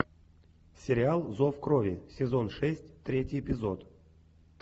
сериал зов крови сезон шесть третий эпизод